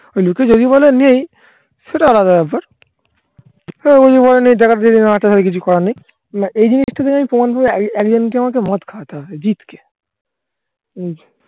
ওই লোকে যদি বলে নেই সেটা আলাদা ব্যাপার কিছু করার নেই. না এই জিনিসটাতে আমি প্রমাণ করে একজনকে আমাকে মদ খাওয়াতে হবে. জিৎকে